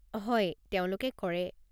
হয়, তেওঁলোকে কৰে।